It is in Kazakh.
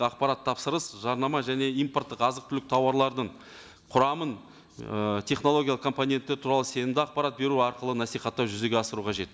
ақпарат тапсырыс жарнама және импорттық азық түлік тауарлардың құрамын ы технологиялық компоненті туралы сенімді ақпарат беру арқылы насихаттау жүзеге асыру қажет